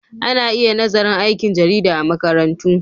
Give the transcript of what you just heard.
Ana iya nazarin aikin jarida a makarantu.